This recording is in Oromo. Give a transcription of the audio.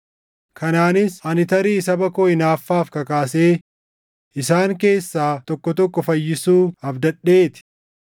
Kanaanis ani tarii saba koo hinaaffaaf kakaasee isaan keessaa tokko tokko fayyisuu abdadhee ti.